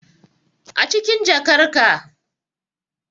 Acikin jakar ka